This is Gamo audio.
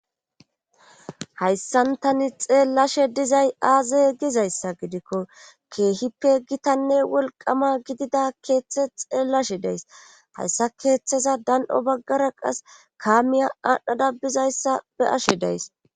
Hayssantani xeellashe dizay aaze gizayssa gidikko keehippe gitanne wolqama gidida keeththe xeellashe deys hayssa keeththeza dan'o baggara qas kaamiya aadhdhada bizayssa be ashe deys.